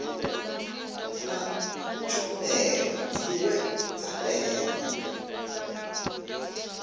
na tshumelo dziwe dza ndeme